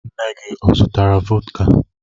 Nne gị ọ zụtara vọdka?